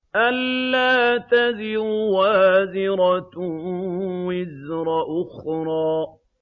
أَلَّا تَزِرُ وَازِرَةٌ وِزْرَ أُخْرَىٰ